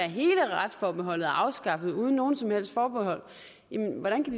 hele retsforbeholdet afskaffet uden nogen som helst forbehold